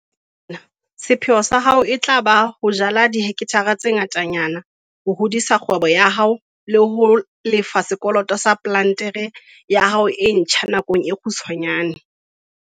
Ka baka lena, sepheo sa hao e tla ba ho jala dihekthara tse ngatanyana ho hodisa kgwebo ya hao le ho lefa sekoloto sa plantere ya hao e ntjha nakong e kgutshwanyane.